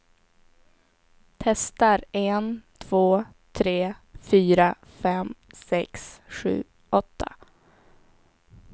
Testar en två tre fyra fem sex sju åtta.